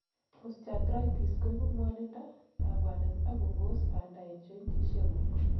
osteoarthritis koibu ngwonindo, kabwanet ak kobos banda en jointisiek guk